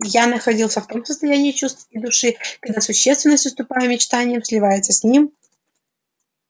я находился в том состоянии чувств и души когда существенность уступая мечтаниям сливается с ним